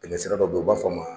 Tɛmɛ sira dɔ bɛ yen u b'a f'a ma.